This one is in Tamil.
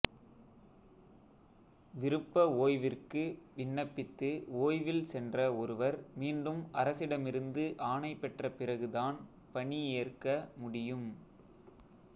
விருப்ப ஓய்விற்கு விண்ணப்பித்து ஓய்வில் சென்ற ஒருவர் மீண்டும் அரசிடமிருந்து ஆணைபெற்ற பிறகுதான் பணி ஏற்க முடியும்